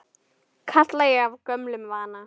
kalla ég af gömlum vana.